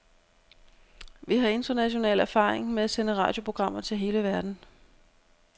Vi har international erfaring med at sende radioprogrammer til hele verden.